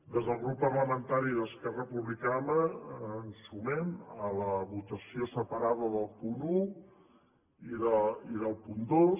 des del grup parlamentari d’esquerra republicana ens sumem a la votació separada del punt un i del punt dos